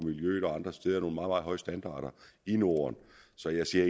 andre steder nogle meget meget høje standarder i norden så jeg ser